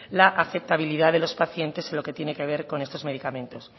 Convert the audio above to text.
la aceptabilidad de los pacientes en lo que tiene que ver con estos medicamentos